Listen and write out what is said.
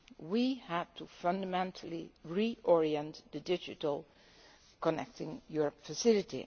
We had to fundamentally reorient the digital Connecting Europe Facility.